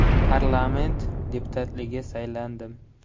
Parlament deputatligiga saylandim.